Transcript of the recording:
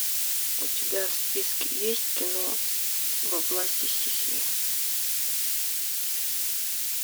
у тебя в списке есть кино во власти стихии